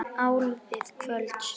Áliðið kvölds.